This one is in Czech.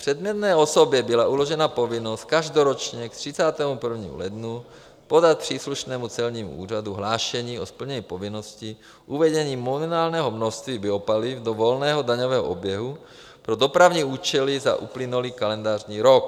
Předmětné osobě byla uložena povinnost každoročně k 31. lednu podat příslušnému celnímu úřadu hlášení o splnění povinnosti uvedení minimálního množství biopaliv do volného daňového oběhu pro dopravní účely za uplynulý kalendářní rok.